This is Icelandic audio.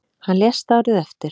Hann lést árið eftir.